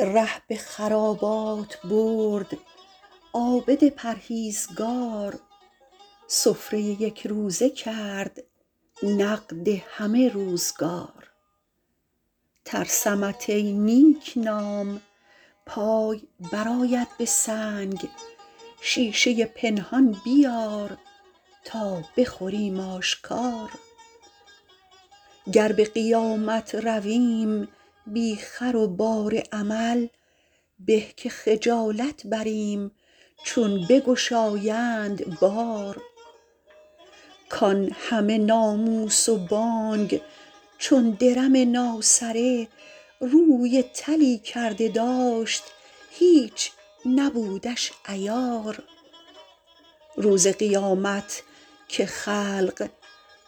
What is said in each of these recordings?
ره به خرابات برد عابد پرهیزگار سفره یکروزه کرد نقد همه روزگار ترسمت ای نیکنام پای برآید به سنگ شیشه پنهان بیار تا بخوریم آشکار گر به قیامت رویم بی خر و بار عمل به که خجالت بریم چون بگشایند بار کان همه ناموس و بانگ چون درم ناسره روی طلی کرده داشت هیچ نبودش عیار روز قیامت که خلق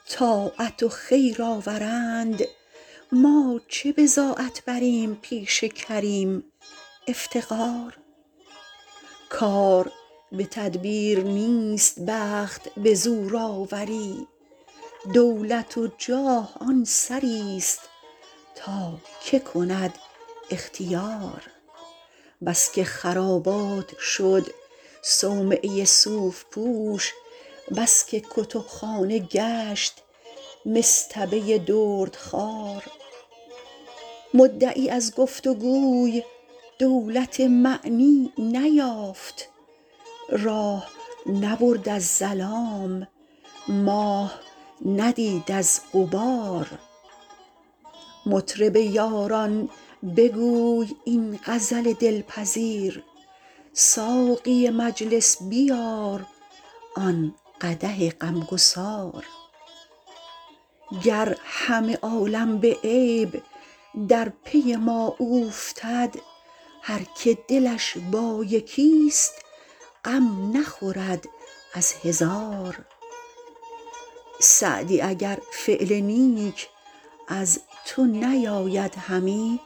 طاعت و خیر آورند ما چه بضاعت بریم پیش کریم افتقار کار به تدبیر نیست بخت به زور آوری دولت و جاه آن سریست تا که کند اختیار بس که خرابات شد صومعه صوف پوش بس که کتبخانه گشت مصطبه دردخوار مدعی از گفت و گوی دولت معنی نیافت راه نبرد از ظلام ماه ندید از غبار مطرب یاران بگوی این غزل دلپذیر ساقی مجلس بیار آن قدح غمگسار گر همه عالم به عیب در پی ما اوفتد هر که دلش با یکیست غم نخورد از هزار سعدی اگر فعل نیک از تو نیاید همی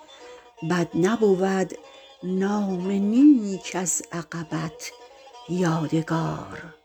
بد نبود نام نیک از عقبت یادگار